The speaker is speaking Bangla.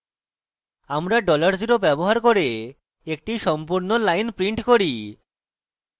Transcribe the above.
আমরা $0 ব্যবহার করে এটি সম্পূর্ণ line prints করে